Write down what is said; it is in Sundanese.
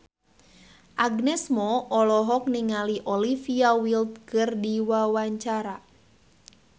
Agnes Mo olohok ningali Olivia Wilde keur diwawancara